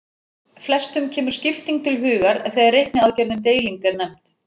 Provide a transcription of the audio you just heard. Flestum kemur skipting til hugar þegar reikniaðgerðin deiling er nefnd.